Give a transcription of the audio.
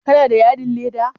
Kana da yadin leda?